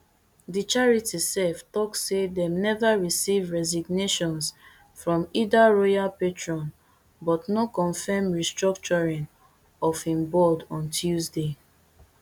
di charity sef tok say dem never receive resignations from either royal patron but no confirm restructuring of im board on tuesday